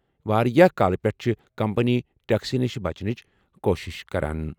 واریاہ کالہٕ پٮ۪ٹھٕ چھِ کمپنی ٹیکسہٕ نِش بچنٕچ کوٗشش کران۔